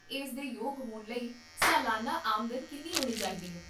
ਇਸ ਦੇ ਯੋਗ ਹੋਣ ਲਈ ਸਾਲਾਨਾ ਆਮਦਨ ਕਿੰਨੀ ਹੋਣੀ ਚਾਹੀਦੀ ਹੈ?